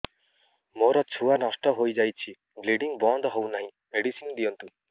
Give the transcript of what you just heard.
ମୋର ଛୁଆ ନଷ୍ଟ ହୋଇଯାଇଛି ବ୍ଲିଡ଼ିଙ୍ଗ ବନ୍ଦ ହଉନାହିଁ ମେଡିସିନ ଦିଅନ୍ତୁ